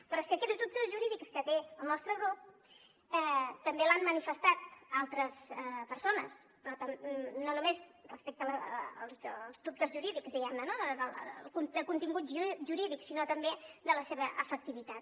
però és que aquests dubtes jurídics que té el nostre grup també els han manifestat altres persones però no només respecte als dubtes jurídics diguem ne no de contingut jurídic sinó també de la seva efectivitat